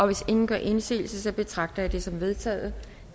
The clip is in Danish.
hvis ingen gør indsigelse betragter det som vedtaget